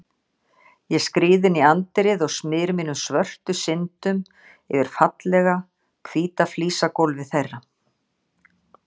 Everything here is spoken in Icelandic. Ég skríð inn í anddyrið og smyr mínum svörtu syndum yfir fallega, hvíta flísagólfið þeirra.